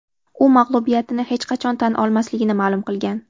U mag‘lubiyatini hech qachon tan olmasligini ma’lum qilgan.